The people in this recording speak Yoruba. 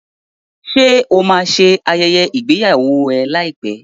Ṣé o máa ṣe ayẹyẹ ìgbéyàwó ẹ láìpẹ́?